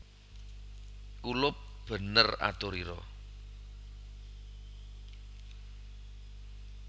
Kulup bener aturira